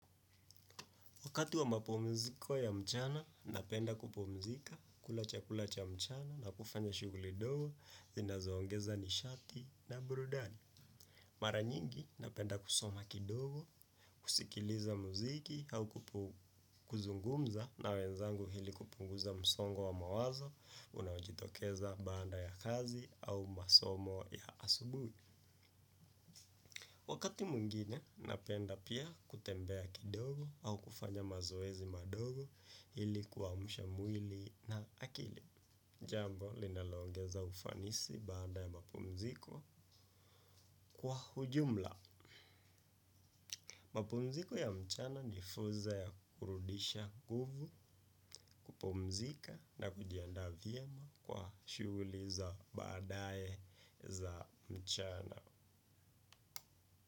Wakati wa mapumziko ya mchana, napenda kupumzika, kula chakula cha mchana na kufanya shughuli dogo, zinazoongeza nishati na burudani. Mara nyingi, napenda kusoma kidogo, kusikiliza mziki au kuzungumza na wenzangu hili kupunguza msongo wa mawazo, unaojitokeza baada ya kazi au masomo ya asubuhi. Wakati mwingine, napenda pia kutembea kidogo au kufanya mazoezi madogo ili kuamsha mwili na akili. Jambo, linaloongeza ufanisi baada ya mapumziko kwa ujumla. Mapumziko ya mchana ni funzo ya kurudisha nguvu. Kupumzika na kujiaanda vyema kwa shughuli za baadae za mchana.